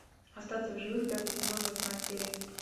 остаться в живых пятый сезон восьмая серия